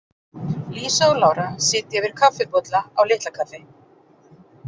Lísa og Lára sitja yfir kaffibolla á Litlakaffi.